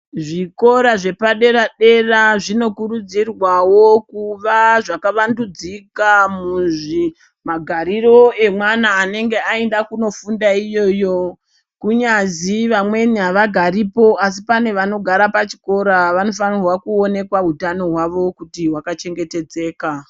Zvikora zvepadera dera zvino kurudzirwawo kuva zvkavandudzika kuzvi magariro emwana anenge aenda kofunda iyoyo. Kungazi vamweni avagaripo asi pane vanogara pachikora vanofanha kuonekwa utano hwavo kuti hwaka chengetedzeka.